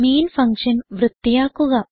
main function വൃത്തിയാക്കുക